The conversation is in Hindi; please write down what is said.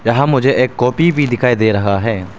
यहां मुझे एक कॉपी भी दिखाई दे रहा है।